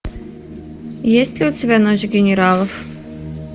есть ли у тебя ночь генералов